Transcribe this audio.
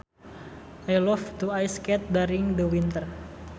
I loved to ice skate during the winter